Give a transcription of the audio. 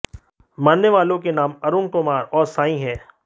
मरने वालों के नाम अरुण कुमार और साई हैं